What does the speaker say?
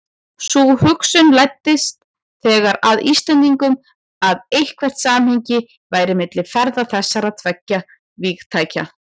Sú hugsun læddist þegar að Íslendingum, að eitthvert samhengi væri milli ferða þessara tveggja vígtækja.